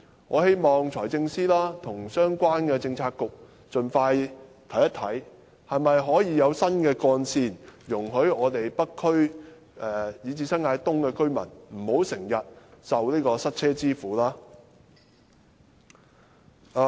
我希望財政司司長和相關的政策局盡快檢視可否興建新幹線，讓北區以至新界東的居民不必經常受塞車之苦。